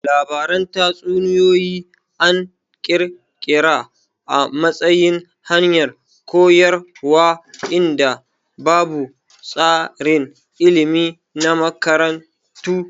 Labaran tatsuniyoyi an kirkira a matsayin hanyar koyarwa inda babu tsarin ilmi na makarantu